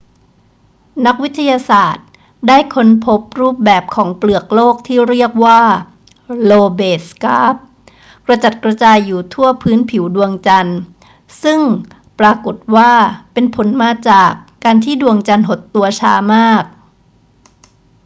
นักวิทยาศาสตร์ได้ค้นพบรูปแบบของเปลือกโลกที่เรียกว่า lobate scarp กระจัดกระจายอยู่ทั่วพื้นผิวดวงจันทร์ ซึ่งปรากฏว่าเป็นผลมาจากการที่ดวงจันทร์หดตัวช้ามาก